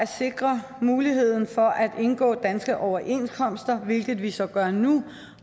sikre muligheden for at indgå danske overenskomster hvilket vi så gør nu